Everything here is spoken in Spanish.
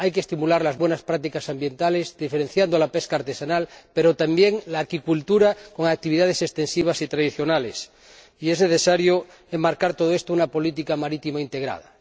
Hay que estimular las buenas prácticas ambientales, diferenciando no solo la pesca artesanal, sino también la acuicultura, con actividades extensivas y tradicionales, y es necesario enmarcar todo ello en una política marítima integrada.